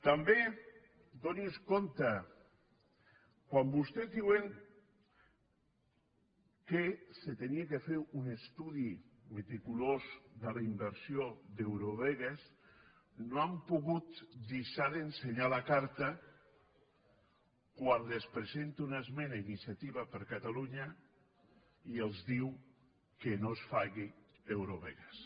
també adoni·se’n quan vostès diuen que s’havia de fer un estudi rigorós de la inversió d’eurovegas no han pogut deixar d’ense·nyar la carta quan els presenta una esmena iniciativa per catalunya i els diu que no es faci eurovegas